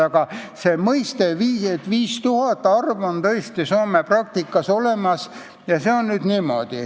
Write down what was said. Aga see arv 5000 on tõesti Soome praktikas olemas.